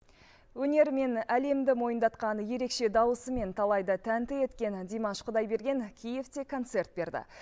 өнерімен әлемді мойындатқан ерекше дауысымен талайды тәнті еткен димаш құдайберген киевте концерт берді